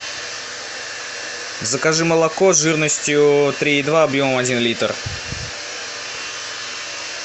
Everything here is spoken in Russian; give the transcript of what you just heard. закажи молоко жирностью три и два объем один литр